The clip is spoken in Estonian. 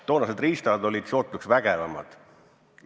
Toonased riistad olid sootuks vägevamad.